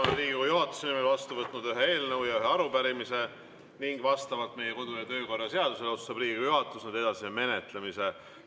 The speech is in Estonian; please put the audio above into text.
Olen Riigikogu juhatuse nimel vastu võtnud ühe eelnõu ja ühe arupärimise ning vastavalt meie kodu‑ ja töökorra seadusele otsustab Riigikogu juhatus nende edasise menetlemise.